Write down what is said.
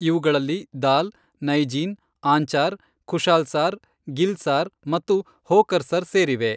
ಇವುಗಳಲ್ಲಿ ದಾಲ್, ನೈಜೀನ್, ಆಂಚಾರ್, ಖುಶಾಲ್ ಸಾರ್, ಗಿಲ್ ಸಾರ್ ಮತ್ತು ಹೋಕರ್ಸರ್ ಸೇರಿವೆ.